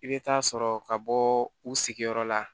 I bɛ taa sɔrɔ ka bɔ u sigiyɔrɔ la